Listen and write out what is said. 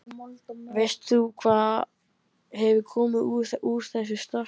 Veist þú hvað hefur komið úr úr þessu starfi?